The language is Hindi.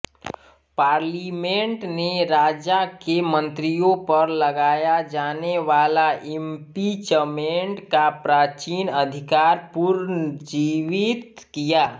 पार्लिमेंट ने राजा के मंत्रियों पर लगाया जानेवाला इम्पीचमेंट का प्राचीन अधिकार पुनर्जीवित किया